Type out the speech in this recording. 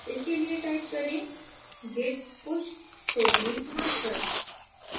इसके लिए type करें git push stories master